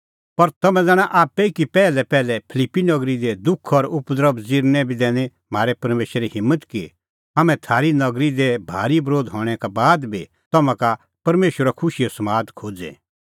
पर तम्हैं ज़ाणा आप्पै ई कि पैहलैपैहल फिलिप्पी नगरी दी दुख और उपद्रभ ज़िरने बी दैनी म्हारै परमेशरै हिम्मत कि हाम्हैं थारी नगरी दी भारी बरोध हणैं का बाद बी तम्हां का परमेशरो खुशीओ समाद खोज़े